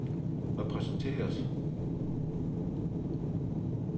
repræsenteret